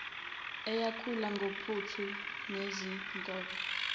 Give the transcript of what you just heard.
eyakhula ngophuthu nezinkobe